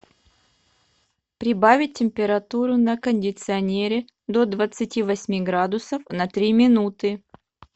прибавить температуру на кондиционере до двадцати восьми градусов на три минуты